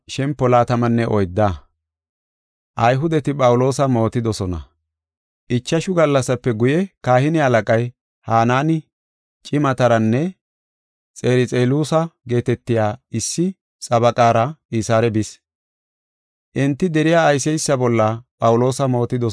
Ichashu gallasape guye kahine halaqay, Hanaani, cimataranne Xerxeluusa geetetiya issi xabaqaara Qisaare bis. Enti deriya ayseysa bolla Phawuloosa mootidosona.